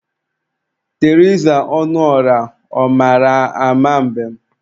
Teriza Ọnụọrah, ọ mara ama mbem?